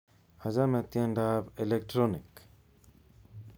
Achame tiendo ab Electronic